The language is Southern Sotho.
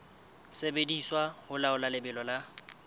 sebediswa ho laola lebelo la